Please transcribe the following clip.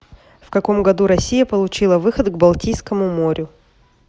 в каком году россия получила выход к балтийскому морю